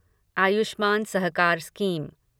Ayushman Sahakar scheme